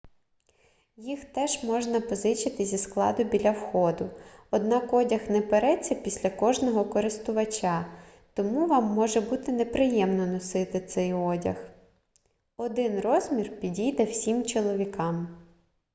їх теж можна позичити зі складу біля входу однак одяг не переться після кожного користувача тому вам може бути неприємно носити цей одяг один розмір підійде всім чоловікам